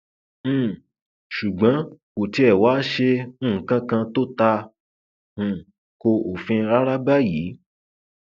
um ṣùgbọn kò tiẹ wáá ṣe nǹkan kan tó ta um ko òfin rárá báyìí